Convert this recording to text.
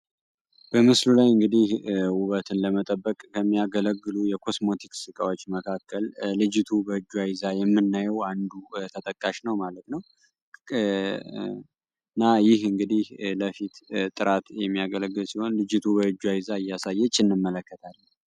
በምስሉ ላይ እንግዲህ ወበትን ለመጠበቅ ከሚያገለግሉት የኮስሞቲክስ እቃዎች መካከል ልጅቱ በእጇ ይዛ የምናየው አንዱ ተጠጠቃሽ ነው ማለት ነው። ይህ ለፊት ጥራት የሚያገለግል ሲሆን ልጅቷ በእጇ ይዛ እንመለከታለን።